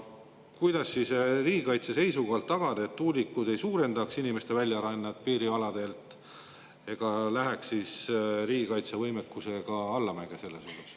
Kuidas riigikaitse seisukohalt tagada, et tuulikud ei suurendaks inimeste väljarännet piirialadelt ega läheks ka riigikaitsevõimekus selles osas allamäge?